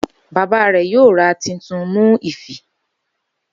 Baba rẹ yoo ra titun mu ifi